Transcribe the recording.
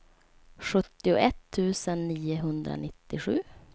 sjuttioett tusen niohundranittiosju